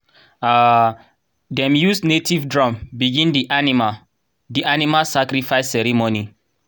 um dem use native drum begin the animal the animal sacrifice ceremony.